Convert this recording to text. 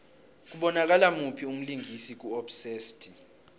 kubonakala muphi umlingisi ku obsessed